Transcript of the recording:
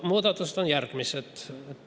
Muudatused on järgmised.